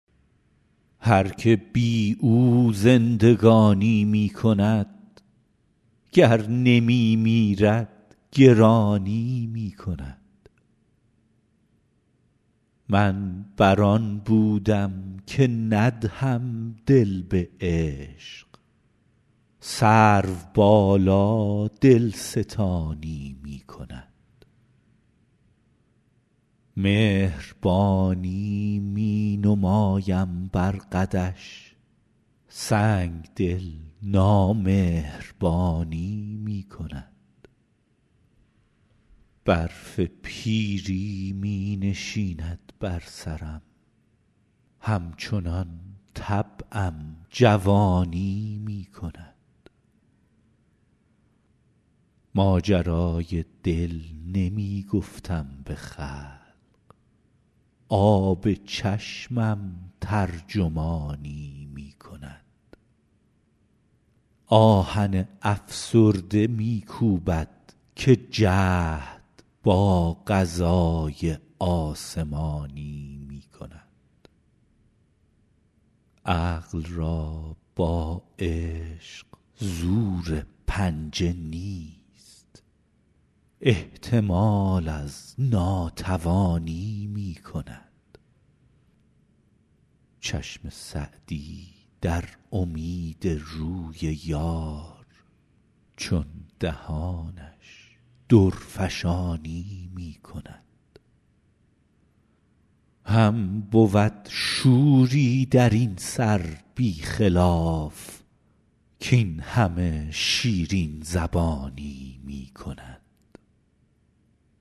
هر که بی او زندگانی می کند گر نمی میرد گرانی می کند من بر آن بودم که ندهم دل به عشق سروبالا دلستانی می کند مهربانی می نمایم بر قدش سنگدل نامهربانی می کند برف پیری می نشیند بر سرم همچنان طبعم جوانی می کند ماجرای دل نمی گفتم به خلق آب چشمم ترجمانی می کند آهن افسرده می کوبد که جهد با قضای آسمانی می کند عقل را با عشق زور پنجه نیست احتمال از ناتوانی می کند چشم سعدی در امید روی یار چون دهانش درفشانی می کند هم بود شوری در این سر بی خلاف کاین همه شیرین زبانی می کند